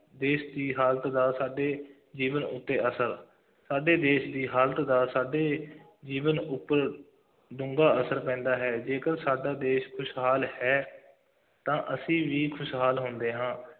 ਦੇਸ਼ ਦੀ ਹਾਲਤ ਦਾ ਸਾਡੇ ਜੀਵਨ ਉੱਤੇ ਅਸਰ, ਸਾਡੇ ਦੇਸ਼ ਦੀ ਹਾਲਤ ਦਾ ਸਾਡੇ ਜੀਵਨ ਉੱਪਰ ਡੂੰਘਾ ਅਸਰ ਪੈਂਦਾ ਹੈ, ਜੇਕਰ ਸਾਡਾ ਦੇਸ਼ ਖੁਸ਼ਹਾਲ ਹੈ ਤਾਂ ਅਸੀਂ ਵੀ ਖੁਸ਼ਹਾਲ ਹੁੰਦੇ ਹਾਂ,